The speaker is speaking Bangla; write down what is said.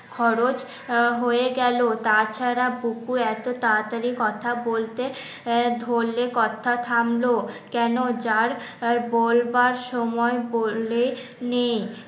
খরচ হয়ে গেল তাছাড়া বুকু এত তাড়াতাড়ি কথা বলতে আহ ধরলে কথা থামলো কেন যার আর বলবার সময় বললে নেই